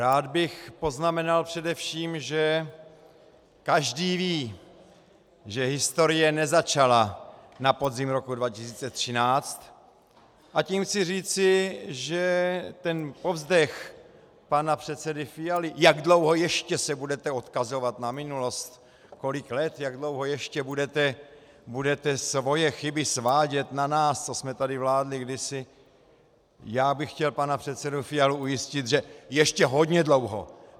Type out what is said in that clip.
Rád bych poznamenal především, že každý ví, že historie nezačala na podzim roku 2013, a tím chci říci, že ten povzdech pana předsedy Fialy, jak dlouho ještě se budete odkazovat na minulost, kolik let, jak dlouho ještě budete svoje chyby svádět na nás, co jsme tady vládli kdysi - já bych chtěl pana předsedu Fialu ujistit, že ještě hodně dlouho.